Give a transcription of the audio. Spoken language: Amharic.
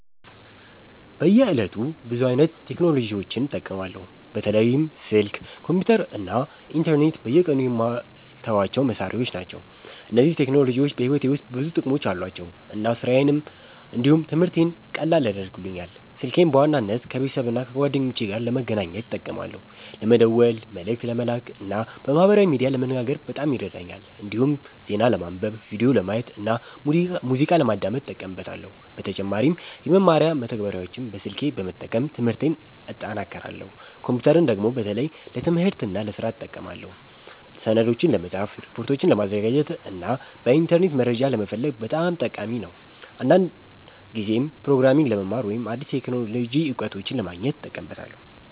በየዕለቱ ብዙ አይነት ቴክኖሎጂዎችን እጠቀማለሁ። በተለይም ስልክ፣ ኮምፒተር እና ኢንተርኔት በየቀኑ የማልተዋቸው መሳሪያዎች ናቸው። እነዚህ ቴክኖሎጂዎች በሕይወቴ ውስጥ ብዙ ጥቅሞች አሏቸው እና ስራዬን እንዲሁም ትምህርቴን ቀላል ያደርጉልኛል። ስልኬን በዋናነት ከቤተሰብና ከጓደኞቼ ጋር ለመገናኘት እጠቀማለሁ። ለመደወል፣ መልእክት ለመላክ እና በማህበራዊ ሚዲያ ለመነጋገር በጣም ይረዳኛል። እንዲሁም ዜና ለማንበብ፣ ቪዲዮ ለማየት እና ሙዚቃ ለማዳመጥ እጠቀምበታለሁ። በተጨማሪም የመማሪያ መተግበሪያዎችን በስልኬ በመጠቀም ትምህርቴን እጠናክራለሁ። ኮምፒተርን ደግሞ በተለይ ለትምህርትና ለስራ እጠቀማለሁ። ሰነዶችን ለመጻፍ፣ ሪፖርቶችን ለማዘጋጀት እና በኢንተርኔት መረጃ ለመፈለግ በጣም ጠቃሚ ነው። አንዳንድ ጊዜም ፕሮግራሚንግ ለመማር ወይም አዲስ የቴክኖሎጂ እውቀቶችን ለማግኘት እጠቀምበታለሁ።